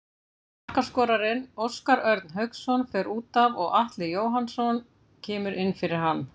Markaskorarinn Óskar Örn Hauksson fer útaf og Atli Jóhannsson kemur inn fyrir hann.